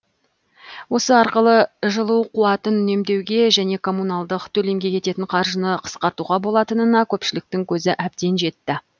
осы арқылы жылу қуатын үнемдеуге және коммуналдық төлемге кететін қаржыны қысқартуға болатынына көпшіліктің көзі әбден жетті